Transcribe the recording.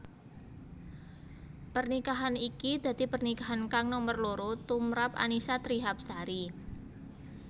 Pernikahan iki dadi pernikahan kang nomer loro tumprap Annisa Trihapsari